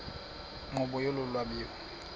nkqubo yolu lwabiwo